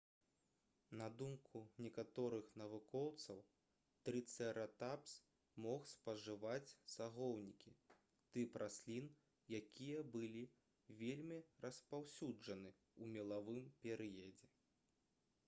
на думку некаторых навукоўцаў трыцэратапс мог спажываць сагоўнікі тып раслін якія былі вельмі распаўсюджаны ў мелавым перыядзе